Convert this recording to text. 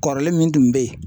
Kɔrɔlen min tun bɛ yen